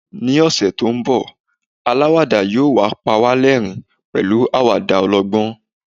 ni ọsẹ ti nbọ alawada yíò pa wa l'ẹrin pẹlu awada ọlọgbọn